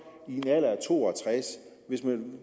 i en alder af to og tres år hvis man